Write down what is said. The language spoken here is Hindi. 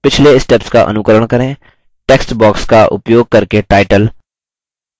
पिछले steps का अनुकरण करें टेक्स्ट बॉक्स का उपयोग करके टाइटल watercycle diagram दें